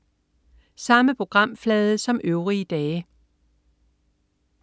Samme programflade som øvrige dage